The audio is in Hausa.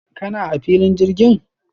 kana a filin jirgin?